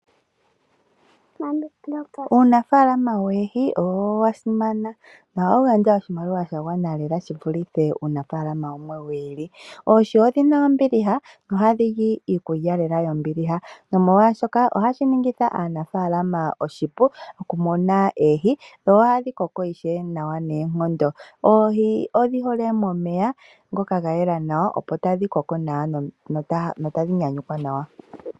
Uunafaalama woohi owo wa simana, ohawu gandja oshimaliwa sha gwana lela shi vulithe uunafalama wumwe wi ili. Oohi odhina ombiliha nohadhi li iikulya lela yombiliha nomolwaashoka ohashi ningitha aanafalama oshipu okununa oohi dho ohadhi koko nawa noonkondo. Oohi odhi hole momeya ngoka ga yela nawa, opo tadhi koko nawa notadhi nyanyukwa nawa.